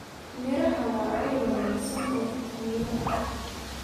Miraha waa il wanaagsan oo fiitamiino ah.